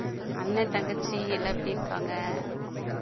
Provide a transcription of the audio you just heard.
அண்ணன் தங்கச்சி எல்லாம் எப்படி இருக்காங்க